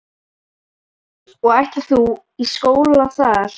Hjördís: Og ætlar þú í skóla þar?